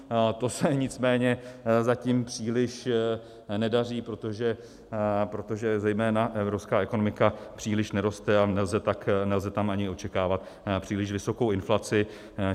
To se nicméně zatím příliš nedaří, protože zejména evropská ekonomika příliš neroste a nelze tam ani očekávat příliš vysokou inflaci.